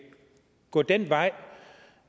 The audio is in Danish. gå den vej